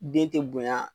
Den tɛ bonya